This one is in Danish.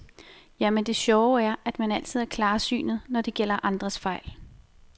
Jamen det sjove er, at man altid er klarsynet, når det gælder andres fejl.